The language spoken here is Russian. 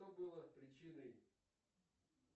что было причиной